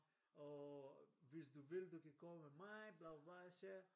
Og hvis du vil du kan komme med mig bla bla så sagde jeg